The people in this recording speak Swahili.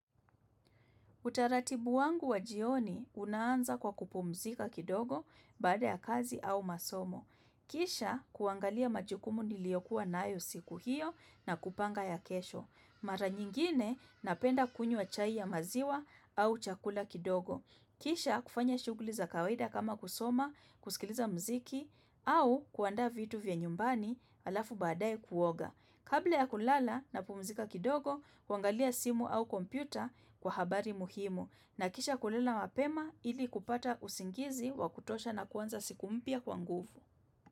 Utaratibu wangu wa jioni unaanza kwa kupumzika kidogo baada ya kazi au masomo. Kisha kuangalia majukumu niliyokuwa nayo siku hiyo na kupanga ya kesho. Mara nyingine napenda kunywa chai ya maziwa au chakula kidogo. Kisha kufanya shughuli za kawaida kama kusoma, kusikiliza muziki au kuandaa vitu vya nyumbani alafu baadae kuoga. Kabla ya kulala napumuzika kidogo kuangalia simu au kompyuta kwa habari muhimu na kisha kulala mapema ili kupata usingizi wa kutosha na kuanza siku mpya kwa nguvu.